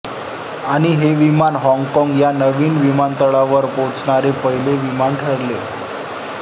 आणि हे विमान हॉंगकॉंग या नवीन विमान तळावर पोहचणारे पहिले विमान ठरले